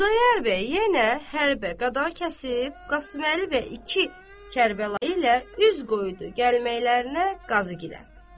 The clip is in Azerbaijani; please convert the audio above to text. Xudayar bəy yenə hərbə-qadağakəsib Qasıməli bəy iki Kərbəlayı ilə üz qoydu gəlməklərinə Qazıgilə.